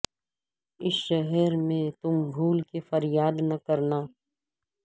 اس شہر میں تم بھول کے فریاد نہ کرنا